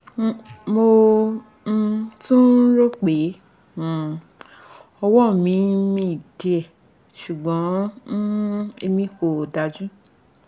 mo um tún ń ròó pé um ọwọ́ mi ń mì díẹ̀ ṣùgbọ́n um èmi kò dájú